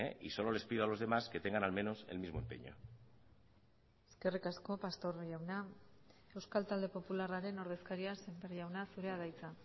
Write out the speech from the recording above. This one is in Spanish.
y solo les pido a los demás que tengan al menos el mismo empeño eskerrik asko pastor jauna euskal talde popularraren ordezkaria sémper jauna zurea da hitza